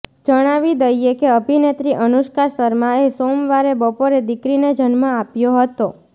જણાવી દઈએ કે અભિનેત્રી અનુષ્કા શર્માએ સોમવારે બપોરે દીકરીને જન્મ આપ્યો હતો